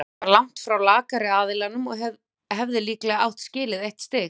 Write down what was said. Keflavík var langt í frá lakari aðilinn og hefði líklega átt skilið eitt stig.